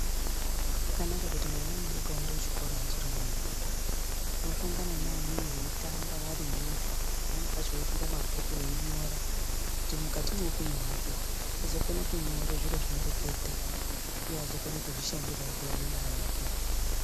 Zvakanaka kuti mwana mudoko aende kuchikora achirimudodori, ohlongana neamweni veitamba variyo pamweni pacho veifunda mabhuku veinyora. Kuti mukati mweupenyu hwake azokona kunyora zviro zvinoreketa uye azokone kuzvishandira eione mari yake.